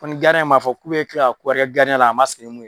Ko ni ma fɔ k'u be kila ka ko kɛ la a ma sigi ni mun ye.